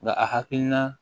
Nka a hakilina